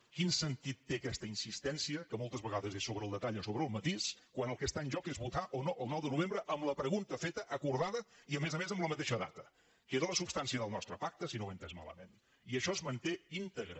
quin sentit té aquesta insistència que moltes vegades és sobre el detall o sobre el matís quan el que està en joc és votar o no el nou de novembre amb la pregunta feta acordada i a més a més en la mateixa data que era la substància del nostre pacte si no ho he entès malament i això es manté íntegre